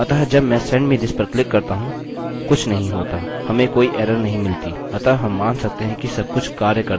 अतः जब मैं send me this पर क्लिक करता हूँ कुछ नहीं होता हमें कोई एरर नहीं मिली अतः हम मान सकते हैं कि सबकुछ कार्य करता है